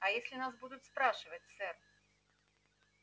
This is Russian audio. а если нас будут спрашивать сэр